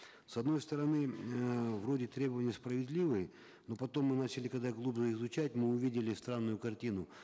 с одной стороны э вроде требования справедливые но потом мы начали когда глубже изучать мы увидели странную картину